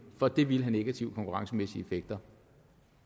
for det vil have negative konkurrencemæssige effekter